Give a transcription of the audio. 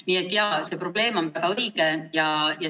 Nii et jaa, see probleemitõstatus on väga õige.